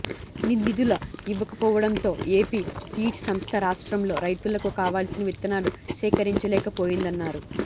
నిధులు ఇవ్వకపోవడంతో AP seeds సంస్థ రాష్ట్రంలో రైతులకు కావాల్సిన విత్తనాలు సేకరించలేకపోయిందన్నారు